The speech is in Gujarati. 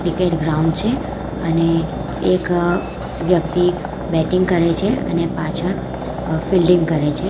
ક્રિકેટ ગ્રાઉન્ડ છે અને એક વ્યક્તિ બેટિંગ કરે છે અને પાછળ અ ફિલ્ડિંગ કરે છે.